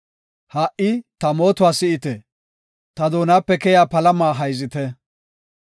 Ha77i ta mootuwa si7ite; ta doonape keya palama hayzite.